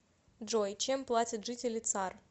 джой чем платят жители цар